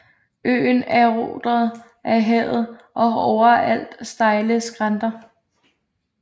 Øen er eroderet af havet og har overalt stejle skrænter